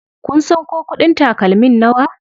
Kun san ko kuɗin takalmin nawa?